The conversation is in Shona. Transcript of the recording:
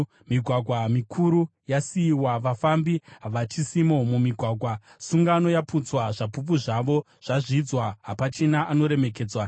Migwagwa mikuru yasiyiwa, vafambi havachisimo mumigwagwa. Sungano yaputswa, zvapupu zvayo zvazvidzwa, hapachina anoremekedzwa.